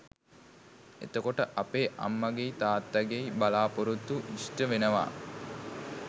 එතකොට අපේ අම්මගෙයි තාත්තගෙයි බලාපෙරොත්තු ඉෂ්ට වෙනවා